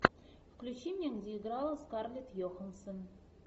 включи мне где играла скарлетт йоханссон